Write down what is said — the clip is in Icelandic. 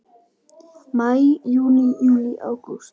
Maí Júní Júlí Ágúst